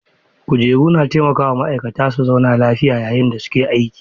Kujeru na taimaka wa ma'aikata su zauna lafiya yayin da suke aiki.